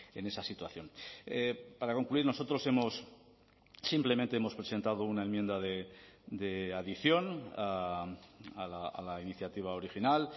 en esa situación para concluir nosotros hemos simplemente hemos presentado una enmienda de adición a la iniciativa original